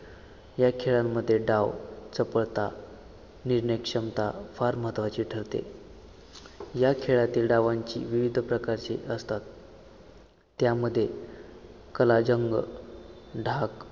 या खेळांमध्ये डाव चपळता निर्णयक्षमता फार महत्वाची ठरते या खेळातील डावांची विविध प्रकारची असतात त्यामध्ये कलाजंग ढाग